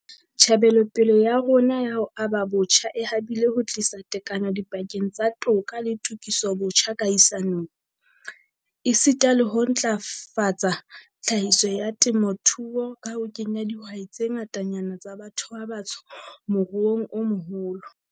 Tjhebelopele ya rona ya ho aba botjha e habile ho tlisa tekano dipakeng tsa toka le tokisobotjha kahisanong, esita le ho ntlafatsa tlhahiso ya temothuo ka ho kenya dihwai tse ngatanyana tsa batho ba batsho moruong o moholo.